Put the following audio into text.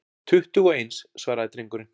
Tuttugu og eins, svaraði drengurinn.